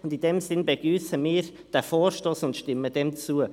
Deshalb begrüssen wir diesen Vorstoss und stimmen diesem zu.